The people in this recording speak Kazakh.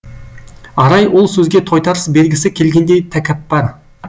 арай ол сөзге тойтарыс бергісі келгендей тәкаппар